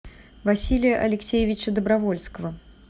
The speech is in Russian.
василия алексеевича добровольского